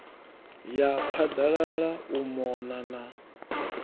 ya phaḓalala u mona na